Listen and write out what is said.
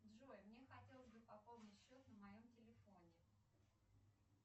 джой мне хотелось бы пополнить счет на моем телефоне